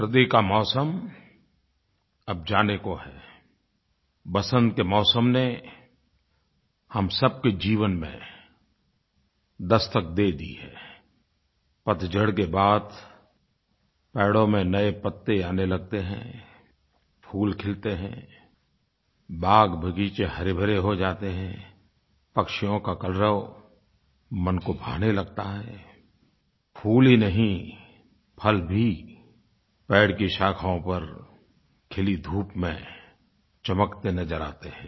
सर्दी का मौसम अब जाने को है वसन्त के मौसम ने हम सबके जीवन में दस्तक दे दी है पतझड़ के बाद पेड़ों में नये पत्ते आने लगते हैं फूल खिलते हैं बाग़बगीचे हरेभरे हो जाते हैं पक्षियों का कलरव मन को भाने लगता है फूल ही नहीं फल भी पेड़ की शाखाओं पर खिली धूप में चमकते नज़र आते हैं